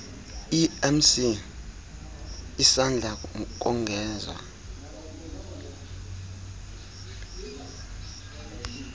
emc isanda kongezwa